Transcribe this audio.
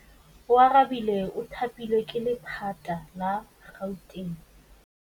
Oarabile o thapilwe ke lephata la Gauteng.